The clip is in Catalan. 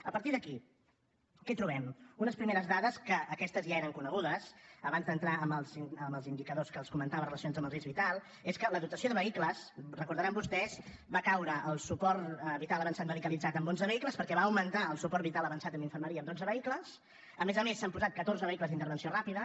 a partir d’aquí què trobem unes primeres dades que aquestes ja eren conegudes abans d’entrar en els indicadors que els comentava relacionats amb el risc vital són que en la dotació de vehicles ho deuen recordar vostès va caure el suport vital avançat medicalitzat amb onze vehicles perquè va augmentar el suport vital avançat amb infermeria amb dotze vehicles a més a més s’han posat catorze vehicles d’intervenció ràpida